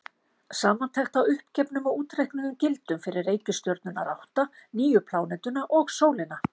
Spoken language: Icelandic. Samantekt á uppgefnum og útreiknuðum gildum fyrir reikistjörnurnar átta, nýju plánetuna og sólina.